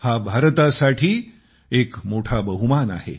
हा भारतासाठी मोठा बहूमान आहे